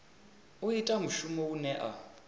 u ita mushumo une a